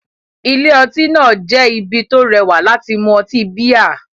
Ilé-ọtí náà jẹ́ ibi tó rẹwà láti mu ọtí bíà